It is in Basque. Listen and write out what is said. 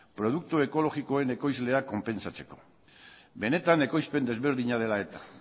produktu ekologikoen ekoizlea konpentsatzeko benetan ekoizpen ezberdina dela eta